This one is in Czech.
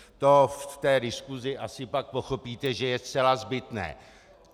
To v té diskusi asi pak pochopíte, že je zcela zbytné.